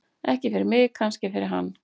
Ekki fyrir mig, kannski fyrir hann.